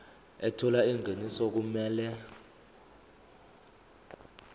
ethola ingeniso okumele